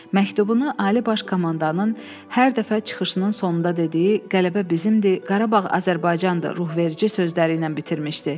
Məktubunu Ali Baş Komandanın hər dəfə çıxışının sonunda dediyi “Qələbə bizimdir, Qarabağ Azərbaycandır” ruhverici sözləriylə bitirmişdi.